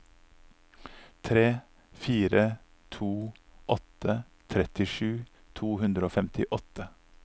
tre fire to åtte trettisju to hundre og femtiåtte